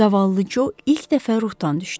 Zavallı Co ilk dəfə ruhdan düşdü.